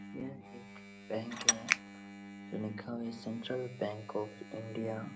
यह एक बैंक है जो लिखा हुआ है सेंट्रल बैंक ऑफ़ इंडिया ।